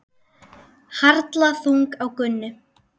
Harla þung á Gunnu.